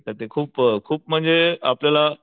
एक भेटत ते खूप खूप म्हणजे आपल्याला